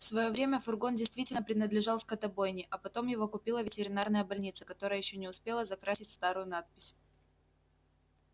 в своё время фургон действительно принадлежал скотобойне а потом его купила ветеринарная больница которая ещё не успела закрасить старую надпись